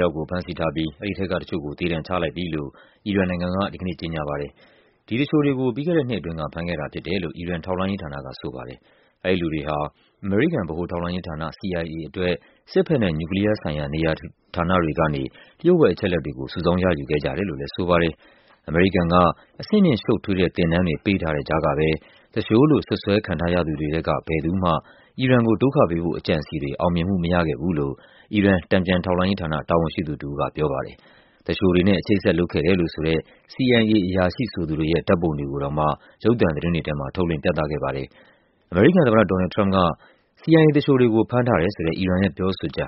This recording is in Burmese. ယောက်ကို ဖမ်းဆီးထားပြီး အဲဒီထဲက တချို့ကို သေဒဏ်ချလိုက်ပြီလို့ အီရန်နိုင်ငံက ဒီကနေ့ ကြေညာပါ တယ်။ ဒီသူလျှိုတွေကို ပြီးခဲ့တဲ့နှစ်အတွင်းက ဖမ်းခဲ့တာဖြစ်တယ်လို့ အီရန် ထောက်လှမ်းရေးဌာနက ဆိုပါတယ်။ အဲဒီလူတွေဟာ အမေရိကန် ဗဟိုထောက်လှမ်းရေးဌာန CIA အတွက် စစ်ဘက်နဲ့ နျူကလီးယားဆိုင်ရာ နေရာဌာနတွေကနေ လျှို့ဝှက် အချက် အလက်တွေကို စုဆောင်းရယူခဲ့ကြတယ်လို့လည်း ဆိုပါတယ်။ အမေရိကန်က အဆင့်မြင့်ရှုပ်ထွေးတဲ့ သင်တန်းတွေ ပေးထားတဲ့ကြားကပဲ သူလျှိုလို့ စွပ်စွဲခံထားရသူတွေထဲက ဘယ်သူမှ အီရန် ကို ဒုက္ခပေးဖို့အကြံအစည်တွေ အောင်မြင်မှု မရခဲ့ဘူးလို့ အီရန် တန်ပြန်ထောက်လှမ်းရေးဌာန တာဝန်ရှိသူတဦးက ပြောပါတယ်။ သူလျှိုတွေနဲ့ အချိတ်အဆက် လုပ်ခဲ့တယ်လို့ဆိုတဲ့ CIA အရာရှိဆိုသူတွေရဲ့ ဓာတ်ပုံတွေကိုတောင်မှ ရုပ်သံသတင်းတွေထဲမှာ ထုတ်လွှင့်ပြသခဲ့ပါတယ်။ ဒါပေမယ့် အမေရိကန်နိုင်ငံခြားရေးဝန်ကြီး Mike Pompeo ကတော့ အီရန်ရဲ့ ဒီပြောဆိုချက်